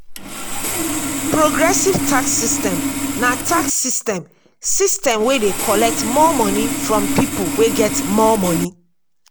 progressive tax system na tax system system wey dey collect more money from pipo wey get more money